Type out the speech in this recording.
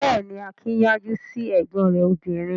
Bẹ́ẹ̀ ni, Akin yájú sí ẹ̀gbọ́n rẹ̀ obìnrin.